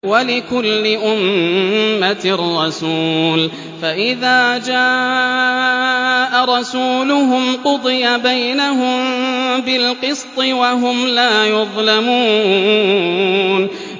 وَلِكُلِّ أُمَّةٍ رَّسُولٌ ۖ فَإِذَا جَاءَ رَسُولُهُمْ قُضِيَ بَيْنَهُم بِالْقِسْطِ وَهُمْ لَا يُظْلَمُونَ